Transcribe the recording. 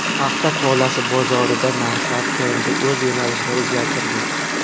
Paxta tolasi bozorida narxlar trendi o‘z yo‘nalishini o‘zgartirdi.